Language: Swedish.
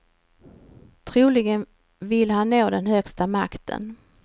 Troligen vill han nå den högsta makten.